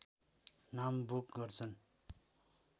नाम बुक गर्छन्